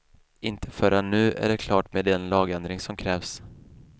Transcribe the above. Inte förrän nu är det klart med den lagändring som krävs.